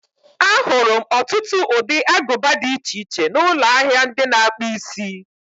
Ahụrụ m ọtụtụ ụdị aguba di iche iche n'ụlọ ahịa ndị na-akpụ isi.